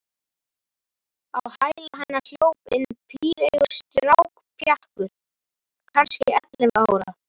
Á hæla hennar hljóp inn píreygur strákpjakkur, kannski ellefu ára.